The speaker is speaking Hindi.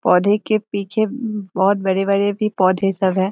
पौधे के पिछे मम बहोत बड़े-बड़े भी पौधे सब है।